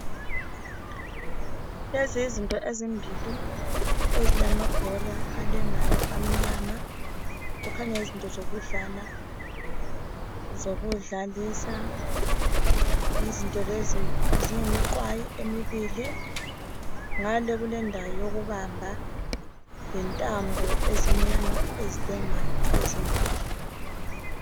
Lezi yizinto ezimbili ezilamabhora alengayo amnyama kukhanya yizinto zokudlala zokudlalisa. Izinto lezi ziyimiqwayi emibili ngale kulendawo yokubamba lentambo ezimnyama ezilengayo ezimbili.